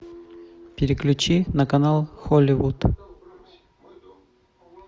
переключи на канал холливуд